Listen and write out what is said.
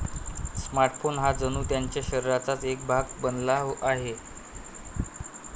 Smartphone हा जणू त्यांच्या शरीराचाच एक भाग बनला आहे.